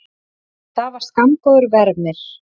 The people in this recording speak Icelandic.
En það var skammgóður vermir.